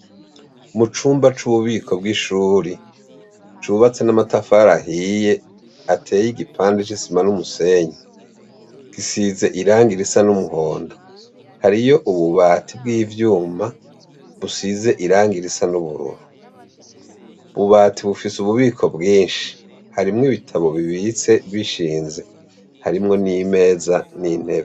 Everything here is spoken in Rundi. Mu cumba c'ububiko bw'ishuri cubatse n'amatafari ahiye ateye igipande c'isima n'umusenyi. Gisize irangi risa n'umuhondo. Hariyo ububati bw'ivyuma busize irangi risa n'ubururu. Ububati bufise ububiko bwishi. Harimwo ibitabo bibitse bishinze. Harimwo n'imeza n'intebe.